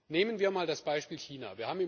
Nehmen wir mal das Beispiel China.